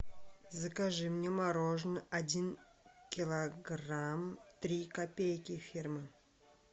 закажи мне мороженое один килограмм три копейки фирма